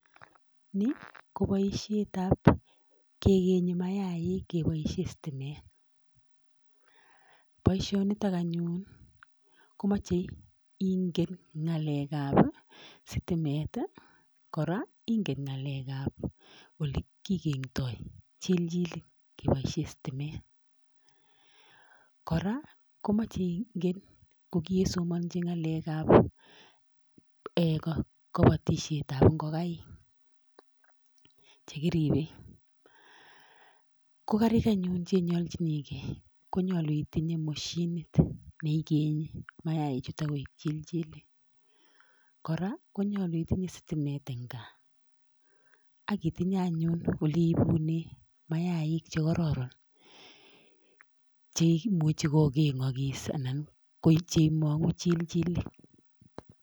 Ni ko boisiet ab kegenyi mayaik kepoishe sitimet, boisionitok anyun komache ingen nyalek ab sitimet koraa ingen ng'alek ab ole kigeng'doy chilchilik kepoishe sitimet, koraa komache ingen kogiesomanji ng'alek ab kapatisiet ab ngokaik chekiripe, ko karik anyun chenyoljinikei konyalu itinye moshinit neikenyi mayaik chutok koek chilchilik koraa konyalu itinye sitimet eng' gaa akitinye anyun ole iipune mayaik chekaroron chemuchi kogeng'ogis anan ko cheimang'u chilchilik.